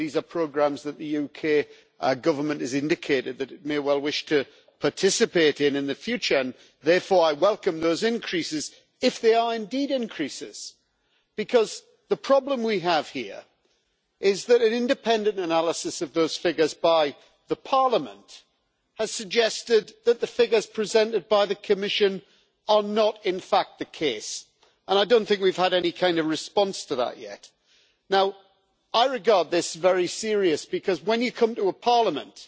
These are programmes that the UK Government has indicated that it may well wish to participate in in the future, and therefore I welcome those increases if they are indeed increases. Because the problem we have here is that an independent analysis of those figures by the Parliament has suggested that the figures presented by the Commission are not in fact the case, and I don't think we've had any kind of response to that yet. Now I regard this as very serious, because when you come to a parliament,